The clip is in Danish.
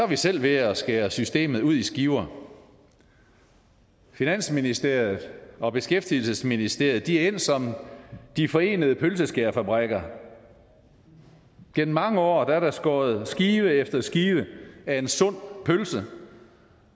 vi selv ved at skære systemet ud i skiver finansministeriet og beskæftigelsesministeriet er endt som de forenede pølseskærefabrikker gennem mange år er der skåret skive efter skive af en sund pølse